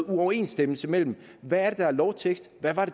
uoverensstemmelse mellem hvad der er lovtekst hvad der er